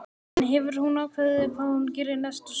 En hefur hún ákveðið hvað hún gerir næsta sumar?